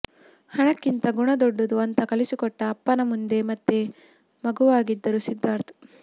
ಹಣಕ್ಕಿಂತ ಗುಣ ದೊಡ್ಡದು ಅಂತಾ ಕಲಿಸಿಕೊಟ್ಟ ಅಪ್ಪನ ಮುಂದೆ ಮತ್ತೆ ಮಗುವಾಗಿದ್ದರು ಸಿದ್ದಾರ್ಥ್